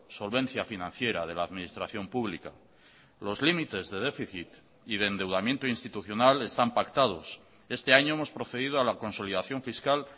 solvencia financiera de la administración pública los límites de déficit y de endeudamiento institucional están pactados este año hemos procedido a la consolidación fiscal